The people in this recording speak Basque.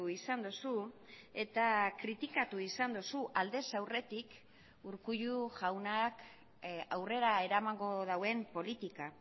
izan duzu eta kritikatu izan duzu aldez aurretik urkullu jaunak aurrera eramango duen politika